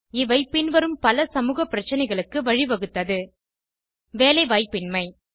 இவை பின்வரும் பல சமூக பிரச்சனைகளுக்கு வழிவகுத்தது வேலைவாய்ப்பினமை